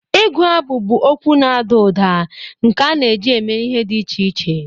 Igu abụ bụ okwu na-ada ụda nke a na-eji eme ihe dị iche iche.